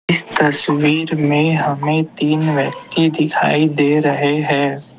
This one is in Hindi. इस तस्वीर में हमें तीन व्यक्ति दिखाई दे रहे हैं।